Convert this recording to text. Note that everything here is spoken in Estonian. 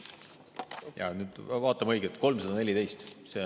Vaatame õiget, 314.